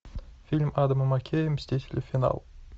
фильм адама маккея мстители финал